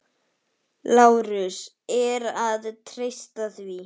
LÁRUS: Er að treysta því?